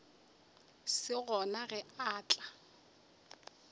se gona ge a tla